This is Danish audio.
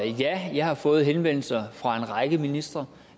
ja jeg har fået henvendelser fra en række ministre